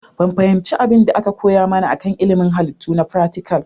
Ban fahimci abin da aka koya mana kan ilimin Halittu na fratical